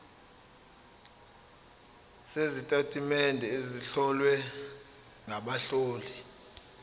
sezitatimende ezihlowe ngabahloli